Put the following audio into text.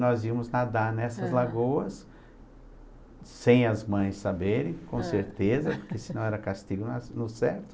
Nós íamos nadar nessas lagoas, sem as mães saberem, com certeza, porque senão era castigo na no certo.